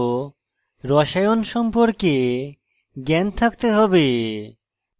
অষ্টম শ্রেণী পর্যন্ত রসায়ন chemistry সম্পর্কে জ্ঞান থাকতে হবে